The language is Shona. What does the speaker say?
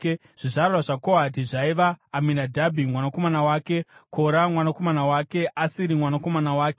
Zvizvarwa zvaKohati zvaiva: Aminadhabhi mwanakomana wake, Kora mwanakomana wake, Asiri mwanakomana wake,